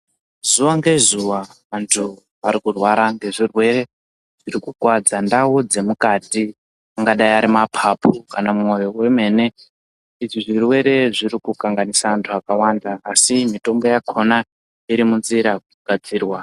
Zuwa ngezuwa, vanthu vari kurwara, ngezvirwere zviri kukuwadza ndau dzemukati, angadai ari maphaphu kana mwoyo wemene. Izvi zvirwere zviri kukanganisa anthu akawanda, asi mitombo yakhona iri mu nzira kugadzira.